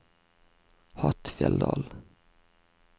Hattfjelldal